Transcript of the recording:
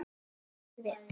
Það gátum við.